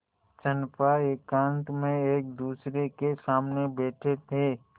चंपा एकांत में एकदूसरे के सामने बैठे थे